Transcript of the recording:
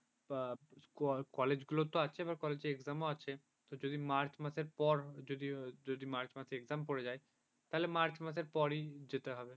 কলেজগুলো তো আছে আবার college র exam ও আছে যদি মার্চ মাসের পর যদি মার্চ মাসে এক্সাম পড়ে যায় তাহলে মার্চ মাসের পরেই যেতে হবে।